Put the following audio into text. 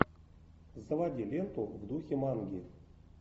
заводи ленту в духе манги